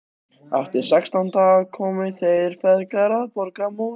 Eftir sextán daga komu þeir feðgar að borgarmúrum